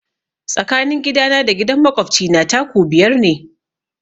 Tsakanin gidana da gidan makwabci na 'taku' biyar ne.